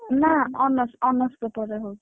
ନା ନା honours honours paper ରେ ହଉଛି।